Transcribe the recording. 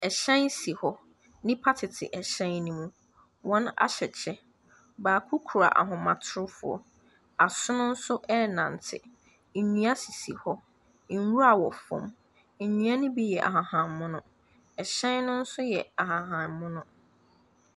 Ɛhyɛn si hɔ. Nnipa tete ɛhyɛn no mu. Wɔahyɛ kyɛ. Baako kura ahomatorofoɔ. Asono nso renante. Nnua sisi hɔ. Nwura wɔ fam. Nnua no bi yɛ ahahammono. Ɛhyɛn no nso yɛ ahahammono.